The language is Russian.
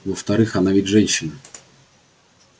во-вторых она ведь женщина